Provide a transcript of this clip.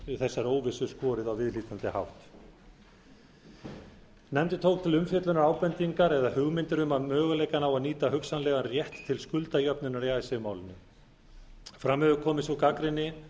úr þessari óvissu skorið á viðhlítandi hátt nefndin tók til umfjöllunar ábendingar eða hugmyndir um möguleikann á að nýta hugsanlegan rétt til skuldajöfnunar í icesave málinu fram hefur komið sú gagnrýni